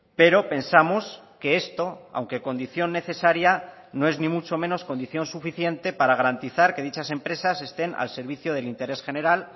pero pensamos que esto aunque condición necesaria no es ni mucho menos condición suficiente para garantizar que dichas empresas estén al servicio del interés general